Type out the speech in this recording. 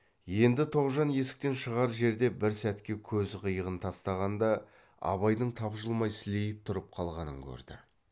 енді тоғжан есіктен шығар жерде бір сәтке көз қиығын тастағанда абайдың тапжылмай сілейіп тұрып қалғанын көрді